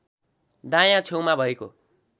दायाँ छेउमा भएको